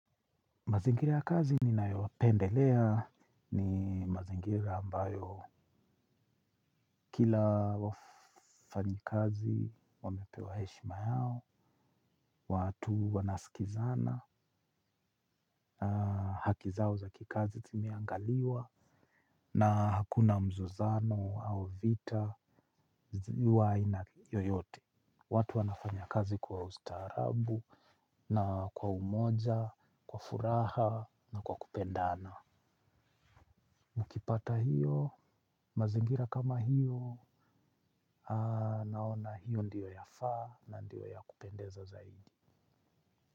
Mazingira ya kazi ninayopendelea ni mazingira ambayo kila wafanyikazi wamepewa heshima yao, watu wanasikizana, haki zao zaki kazi zimeangaliwa na hakuna mzozano au vita wa aina yoyote. Watu wanafanya kazi kwa ustaarabu na kwa umoja, kwa furaha na kwa kupendana. Ukipata hiyo, mazingira kama hio naona hiyo ndio yafaa na ndio ya kupendeza zaidi.